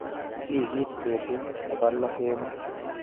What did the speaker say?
Wikit betut nebo loo kemboi.